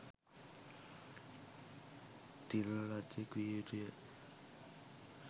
තිළිණ ලද්දෙක් විය යුතු ය.